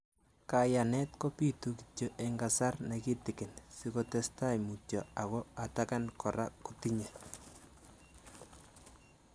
Kanyaet kopituu kityo eng kasar negitigin sikotesetai mutyoo ago atakan koraa kotinyee